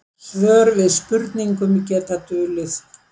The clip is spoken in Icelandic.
Svör við spurningum geta dulið.